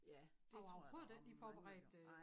Ja det tror jeg der var mange der gjorde nej